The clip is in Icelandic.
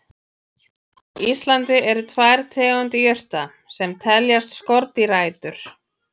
Á Íslandi eru tvær tegundir jurta sem teljast skordýraætur.